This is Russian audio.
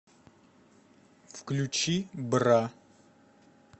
включи бра